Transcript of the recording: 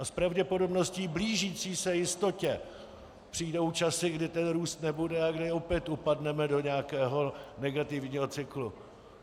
A s pravděpodobností blížící se jistotě přijdou časy, kdy ten růst nebude a kdy opět upadneme do nějakého negativního cyklu.